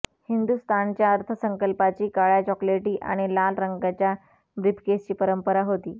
हिंदुस्थानच्या अर्थसंकल्पाची काळय़ा चॉकलेटी आणि लाल रंगाच्या ब्रीफकेसची परंपरा होती